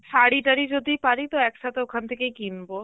শাড়ি তারি যদি পারি তো একসাথে ওখান থেকেই কিনব